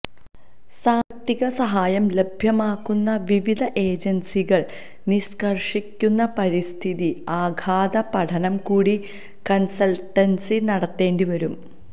സാമ്പത്തിക സഹായം ലഭ്യമാക്കുന്ന വിവിധ ഏജന്സികള് നിഷ്കര്ഷിക്കുന്ന പരിസ്ഥിതി ആഘാത പഠനം കൂടി കണ്സല്ട്ടന്സി നടത്തേണ്ടി വരും